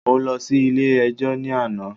Mo lọ sí ilé ẹjọ́ ní àná.